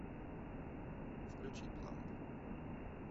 включи пламб